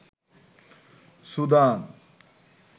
Sudan